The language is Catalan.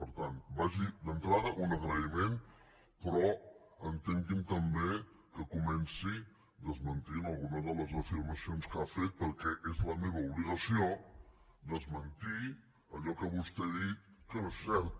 per tant vagi d’entrada un agraïment però entengui’m també que comenci desmentint alguna de les afirmacions que ha fet perquè és la meva obligació desmentir allò que vostè ha dit que no és cert